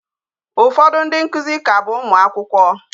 Ụfọdụ ndị nkuzi ka bụ Ụmụ akwụkwọ.